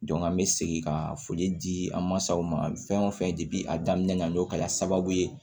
an bɛ segin ka foli di an masaw ma fɛn o fɛn a daminɛ na n'o kɛra sababu ye